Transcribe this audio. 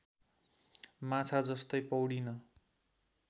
माछा जस्तै पौडीन